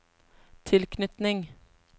tilknytning